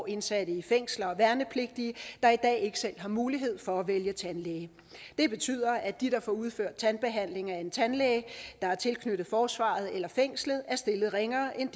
indsatte i fængsler og værnepligtige der i dag ikke selv har mulighed for at vælge tandlæge det betyder at de der får udført tandbehandling af en tandlæge der er tilknyttet forsvaret eller et fængsel er stillet ringere end